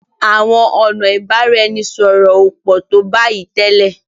Àwọn ọnà ibaraẹnisọrọ o pọ to bayi télètélè.